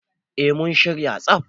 eh mun shirya